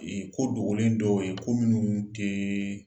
Ee ko dogolen dɔw ye ko minnu tɛɛɛ